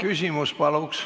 Küsimus, palun!